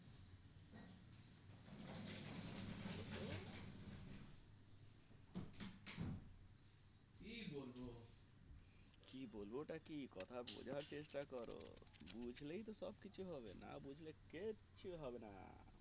বলবো টা কি কথা বোঝা চেষ্টা করো বুঝলেই তো সব কিছু হবে না বুঝলে কিছু হবে না